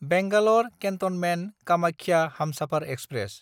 Bangalore केन्टनमेन्ट–कामाख्या Humsafar express